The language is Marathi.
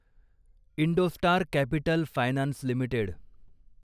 Indostar Capital Finance limited